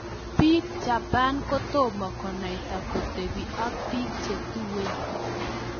Piik japan kotomaa konaitaa kotepii ak piik chetuen